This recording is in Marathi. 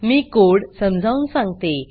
मी कोड समजावून सांगते